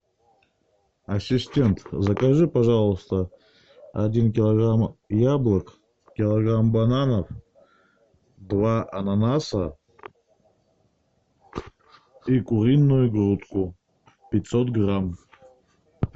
ассистент закажи пожалуйста один килограмм яблок килограмм бананов два ананаса и куриную грудку пятьсот грамм